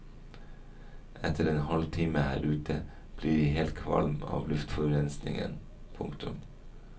Etter en halvtime her ute blir jeg helt kvalm av luftforurensningen. punktum